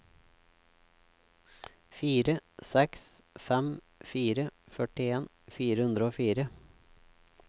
fire seks fem fire førtien fire hundre og fire